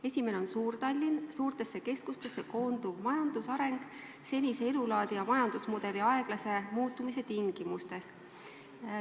Esimene on Suur-Tallinn – suurtesse keskustesse koonduv majandusareng senise elulaadi ja majandusmudeli aeglase muutumise tingimustes.